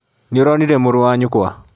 Nĩũronire mũrũ wa nyũkwa?